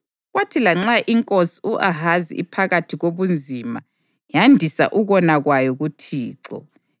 Kwathi lanxa inkosi u-Ahazi iphakathi kobunzima, yandisa ukona kwayo kuThixo.